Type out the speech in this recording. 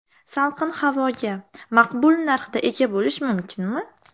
Salqin havoga maqbul narxda ega bo‘lish mumkinmi?